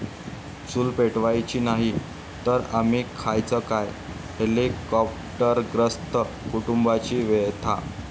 चूल पेटवायची नाही, तर आम्ही खायचं काय?' हेलिकाॅप्टरग्रस्त कुटुंबाची व्यथा